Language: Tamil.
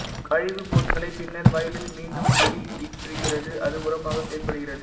கழிவுப்பொருட்களை பின்னர் வயலில் மீண்டும் வெளியேற்றுகிறது அது உரமாக செயல்படுகிறது